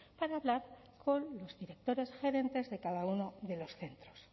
para hablar con los directores gerentes de cada uno de los centros